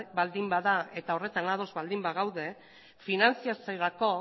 baldin bada eta horretan ados baldin bagaude finantzatzerako